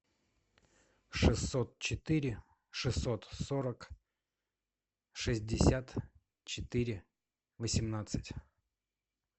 шестьсот четыре шестьсот сорок шестьдесят четыре восемнадцать